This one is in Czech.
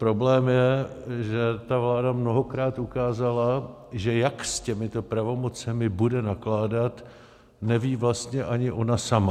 Problém je, že ta vláda mnohokrát ukázala, že jak s těmito pravomocemi bude nakládat, neví vlastně ani ona sama.